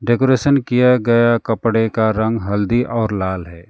Decoration किया गया कपड़े का रंग हल्दी और लाल है।